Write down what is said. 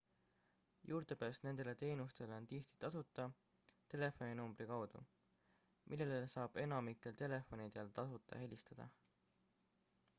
juurdepääs nendele teenustele on tihti tasuta telefoninumbri kaudu millele saab enamikelt telefonidelt tasuta helistada